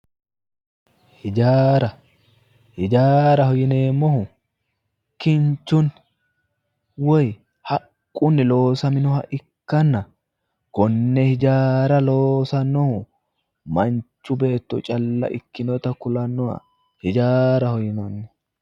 Hijaara ,hijaaraho yinneemmohu kinchunni woyi haqqunni loosaminoha ikkanna kone hijaara loosanohu manchu beetto calla ikkinotta kulanoha hijaaraho